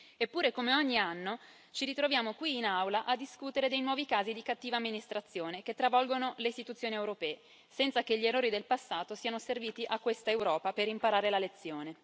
Eppure, come ogni anno, ci ritroviamo qui in Aula a discutere dei nuovi casi di cattiva amministrazione che travolgono le istituzioni europee, senza che gli errori del passato siano serviti a questa Europa per imparare la lezione.